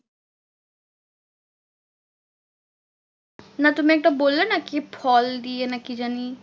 না তুমি একটা বললে না কি ফল দিয়ে না কি জানি?